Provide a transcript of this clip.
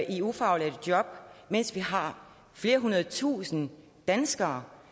i ufaglærte job mens vi har flere hundrede tusinde danskere